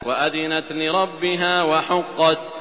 وَأَذِنَتْ لِرَبِّهَا وَحُقَّتْ